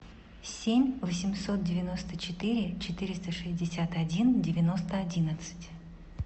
семь восемьсот девяносто четыре четыреста шестьдесят один девяносто одиннадцать